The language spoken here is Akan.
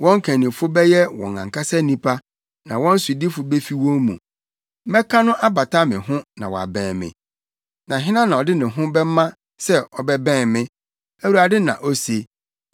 Wɔn kannifo bɛyɛ wɔn ankasa nipa; na wɔn sodifo befi wɔn mu. Mɛka no abata me ho na wabɛn me, na hena na ɔde ne ho bɛma sɛ ɔbɛbɛn me?’ ” Awurade na ose.